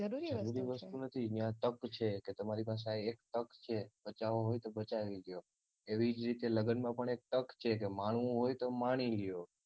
જરૂરી વસ્તુ નથી ન્યા તક છે તમારી પાસે એક તક છે કે બચવા હોય તો બચાવી લ્યો એવી જ રીતે લગ્નમાં પણ એક તક છે માણવું હોય તો માણી લ્યો